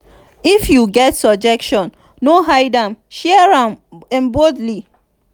if you get suggestion no hide am; share am boldly.